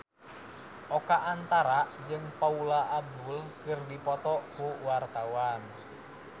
Oka Antara jeung Paula Abdul keur dipoto ku wartawan